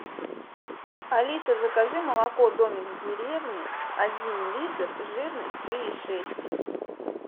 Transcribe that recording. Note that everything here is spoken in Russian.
алиса закажи молоко домик в деревне один литр жирность три и шесть